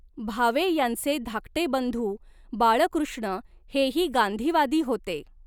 भावे यांचे धाकटे बंधू बाळकृष्ण हेही गांधीवादी होते.